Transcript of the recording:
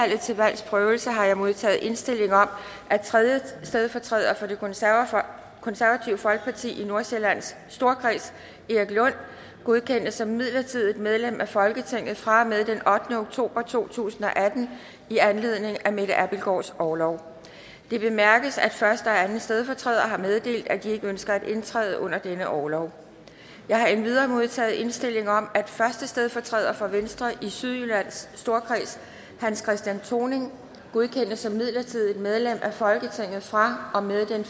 til valgs prøvelse har jeg modtaget indstilling om at tredje stedfortræder for det konservative folkeparti i nordsjællands storkreds erik lund godkendes som midlertidigt medlem af folketinget fra og med den ottende oktober to tusind og atten i anledning af mette abildgaards orlov det bemærkes at første og anden stedfortræder har meddelt at de ikke ønsker at indtræde under denne orlov jeg har endvidere modtaget indstilling om at første stedfortræder for venstre i sydjyllands storkreds hans christian thoning godkendes som midlertidigt medlem af folketinget fra og med den